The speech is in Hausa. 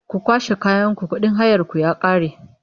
Ku kwashe kayanku kuɗin hayarku ya ƙare!